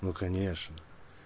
ну конечно